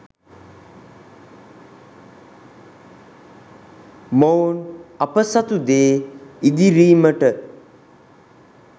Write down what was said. මොවුන් අප සතු දේ ඉදිරීමට